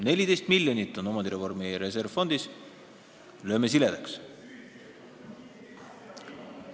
14 miljonit on omandireformi reservfondis, lööme laiaks.